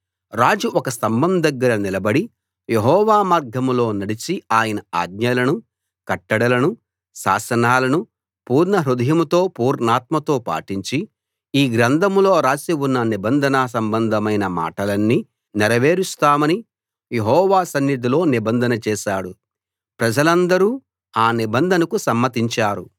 రాజు ఒక స్తంభం దగ్గర నిలబడి యెహోవా మార్గాల్లో నడచి ఆయన ఆజ్ఞలను కట్టడలను శాసనాలను పూర్ణహృదయంతో పూర్ణాత్మతో పాటించి ఈ గ్రంథంలో రాసి ఉన్న నిబంధన సంబంధమైన మాటలన్నీ నెరవేరుస్తామని యెహోవా సన్నిధిలో నిబంధన చేశాడు ప్రజలందరూ ఆ నిబంధనకు సమ్మతించారు